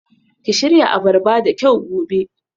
Ki shirya abarba da kyau gobe